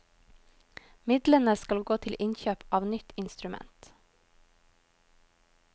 Midlene skal gå til innkjøp av nytt instrument.